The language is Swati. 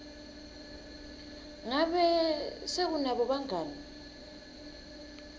ngabe se unabo bangani